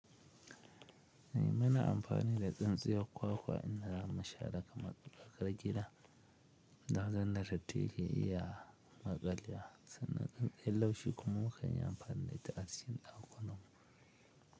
Muna amfani da tsintsiyar kwakwa in da zamu share kamar tsakar gida, daga in da datti ya ke iya. Maƙalewa sannan tsitstsiyar laushi kuma mu kan yi amfani da ita acikin ɗakunan mu.